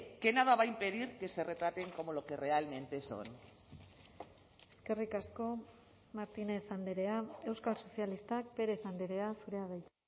que nada va a impedir que se retraten como lo que realmente son eskerrik asko martínez andrea euskal sozialistak pérez andrea zurea da hitza